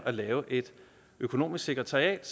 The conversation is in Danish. at lave et økonomisk sekretariat